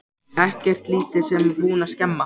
Ekkert lítið sem er búið að skemma!